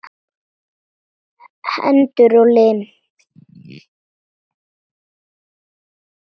Hendur og lim.